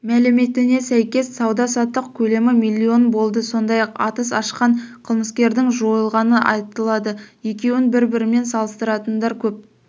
мәліметіне сәйкес сауда-саттық көлемі миллион болды сондай-ақ атыс ашқан қылмыскердің жойылғаны айтылады екеуін бір-бірімен салыстыратындар көп